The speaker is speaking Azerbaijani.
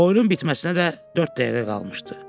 Oyunun bitməsinə də dörd dəqiqə qalmışdı.